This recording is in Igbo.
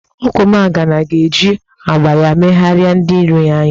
Ogwumagana ga-eji agba ya megharịa ndị iro ya anya.